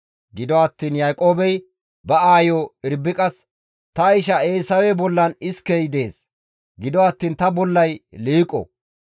Gido attiin Yaaqoobey ba aayo Irbiqas, «Ta isha Eesawe bollan iskey dees; gido attiin ta bollay liiqo.